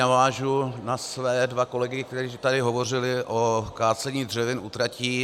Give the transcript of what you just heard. Navážu na své dva kolegy, kteří tady hovořili o kácení dřevin u tratí.